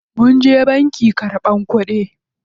Munje banki karɓan kuɗi.